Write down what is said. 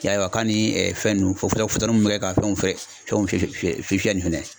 Y'a ye wa, ka ni fɛn ninnu bi kɛ ka fɛnw fɛ fɛn fiyɛ fiyɛli fɛnɛ[?